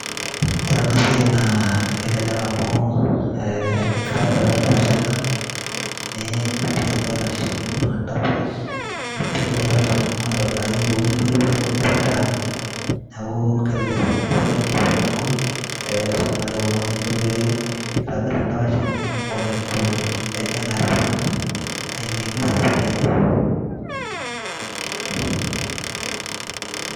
Orena siai naa kelelek amuu eeh enkitobirata endapash ena, nii pik irkarash nikurr endapash nipik irkarash linonok aitobiraki kulo lintoipore olipetaa, neakuu kelelek sininye enasiai amu meesiai nagol eeh eisum najiake oltungani enikon pee eitobirr endapash enye oeneitu ejing' airrag aing'iengie osesen lenye.